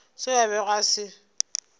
seo a bego a se